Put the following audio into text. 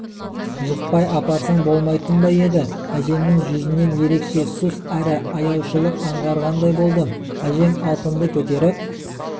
жықпай апарсаң болмайтын ба еді әжемнің жүзінен ерекше сұс әрі аяушылық анғарғандай болдым әжем алтынды көтеріп